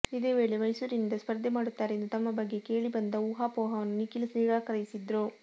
ಇದೇ ವೇಳೆ ಮೈಸೂರಿನಿಂದ ಸ್ಪರ್ಧೆ ಮಾಡುತ್ತಾರೆ ಎಂದು ತಮ್ಮ ಬಗ್ಗೆ ಕೇಳಿ ಬಂದ ಊಹಾಪೋಹವನ್ನು ನಿಖಿಲ್ ನಿರಾಕರಿಸಿದ್ರು